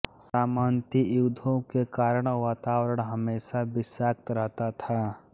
सामंती युद्धों के कारण वातावरण हमेशा विषाक्त रहता था